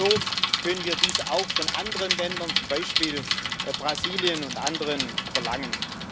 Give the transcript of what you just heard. Nur so können wir dies auch von anderen Ländern zum Beispiel Brasilien und anderen verlangen.